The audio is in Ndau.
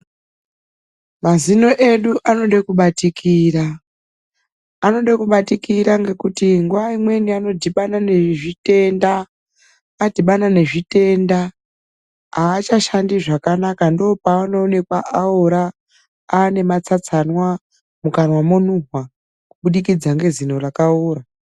Mazino edu anode kubatikira. Anode kubatikira ngekuti nguwa imweni anodhibana nezvitenda. Adhibana nezvitenda aachashandi zvakanaka ndoo paanoonekwa aora, aane matsatsanwa, mukanwa monuhwa kubudikidza ngezino rakaora.